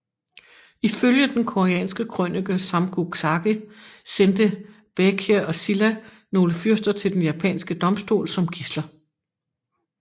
Ifølge den koreanske krønike Samguk Sagi sendte Baekje og Silla nogle fyrster til den japanske domstol som gidsler